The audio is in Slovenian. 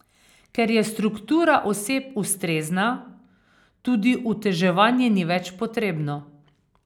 Ker je struktura oseb ustrezna, tudi uteževanje ni več potrebno.